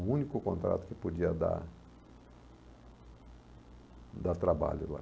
O único contrato que podia dar dar trabalho lá.